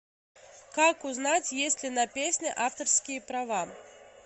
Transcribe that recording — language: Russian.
как узнать есть ли на песне авторские права